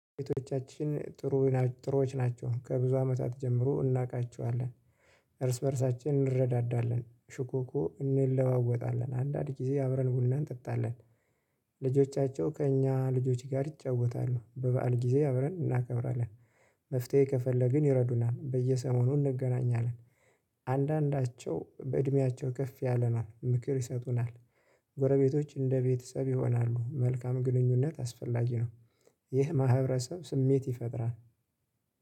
ቤቶቻችን ጥሩ ጥሩዎች ናቸው ከብዙ አመታት ጀምሮ እናውቃቸዋለን። እርስ በእርሳችን እንረዳዳለን ሹኮኮ እንለዋወጣለን አንዳንድ ጊዜ አብረን ቡና እንጠጣለን። ልጆቻቸው ከእኛ ልጆቼ ጋር ይጫወታሉ በበዓል ጊዜ አብረን እናከብራለን። መፍትሄ ከፈለግን ይረዱናል በየሰሞኑ እንገናኛለን። አንዳንዳቸው በእድሜያቸው ከፍ ያለ ናት ምክር ይሰጡናል። ጎረቤቶች እንደ ቤተሰብ ይሆናሉ መልካም ግንኙነት አስፈላጊ ነው። ይህ ማህበረሰብ ስሜት ይፈጥራል።